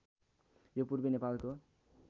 यो पूर्वी नेपालको